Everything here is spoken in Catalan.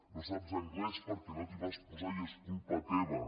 no saps anglès perquè no t’hi vas posar i és culpa teva